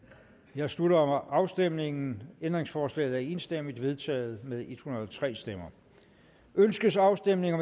jeg slutter afstemningen ændringsforslaget er enstemmigt vedtaget med en hundrede og tre stemmer ønskes afstemning